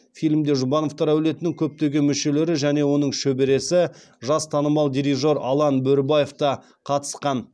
фильмде жұбановтар әулетінің көптеген мүшелері және оның шөбересі жас танымал дирижер алан бөрібаев та қатысқан